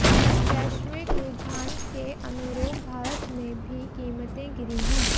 वैश्विक रुझान के अनुरूप भारत में भी कीमतें गिरी हैं